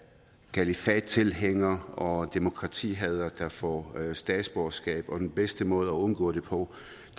kalifattilhængere og demokratihadere der får statsborgerskab den bedste måde undgå det på